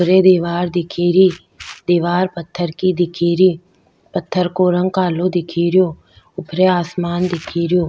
रे दिवार दिखे री दिवार पत्थर की दिखे री पत्थर को रंग कालो दिखे रियो ऊपरे आसमान दिखे रेयो।